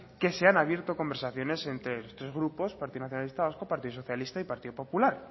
que se han abierto conversaciones entre los tres grupos partido nacionalista vasco partido socialista y partido popular